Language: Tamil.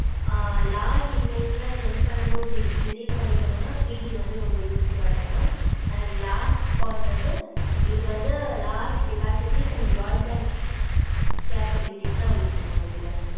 ஆஹ் large emails ல்லாம் send பண்ணனும் receive பண்ணிக்கணும்னா three G வந்து ரொம்ப usefull லா இருக்கும் mam and last point வந்து இது வந்து large capasity and brodband capabilities ல இருக்கு mam இதுல